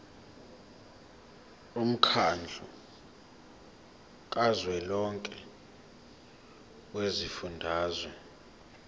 womkhandlu kazwelonke wezifundazwe